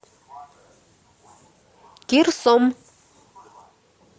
кирсом